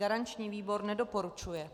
Garanční výbor nedoporučuje.